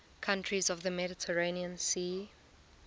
countries of the mediterranean sea